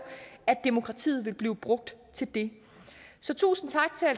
at demokratiet vil blive brugt til det så tusind